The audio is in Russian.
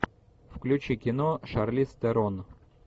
включи кино шарлиз терон